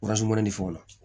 fɔ la